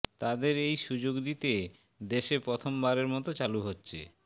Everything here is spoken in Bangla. তাঁদের এই সুযোগ দিতে দেশে প্রথমবারের মতো চালু হচ্ছে